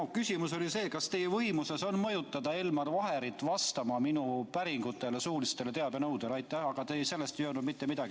Tegelikult oli mu küsimus see, kas teie võimuses on mõjutada Elmar Vaherit vastama minu päringule, suulisele teabenõudele, aga selle kohta te ei öelnud mitte midagi.